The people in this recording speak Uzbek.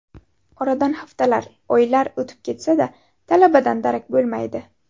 Oradan haftalar, oylar o‘tib ketsa-da, talabadan darak bo‘lmaydi.